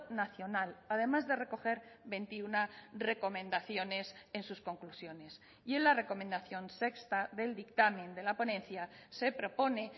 nacional además de recoger veintiuno recomendaciones en sus conclusiones y en la recomendación sexta del dictamen de la ponencia se propone